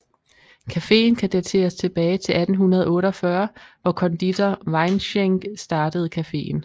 Cafeen kan dateres tilbage til 1848 hvor konditor Weinschenck startede cafeen